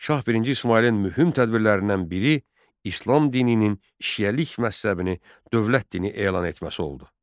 Şah birinci İsmayılın mühüm tədbirlərindən biri İslam dininin şiəlik məzhəbini dövlət dini elan etməsi oldu.